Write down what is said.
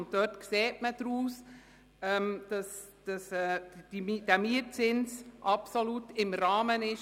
Man kann daraus ersehen, dass der Mietzins absolut im Rahmen ist.